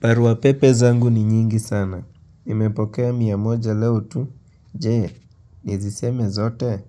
Parua pepe zangu ni nyingi sana. Imepokea mia moja leo tu. Je, niziseme zote.